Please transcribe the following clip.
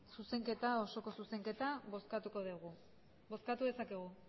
osoko zuzenketa bozkatuko dugu bozkatu dezakegu